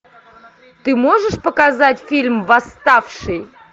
ты можешь показать фильм восставший